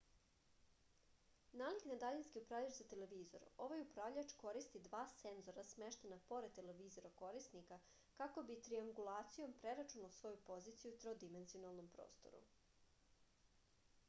nalik na daljinski upravljač za televizor ovaj upravljač koristi dva senzora smeštena pored televizora korisnika kako bi triangulacijom preračunao svoju poziciju u trodimenzionalnom prostoru